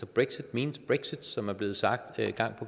brexit means brexit som det er blevet sagt gang